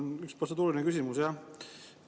Mul on üks protseduuriline küsimus jah.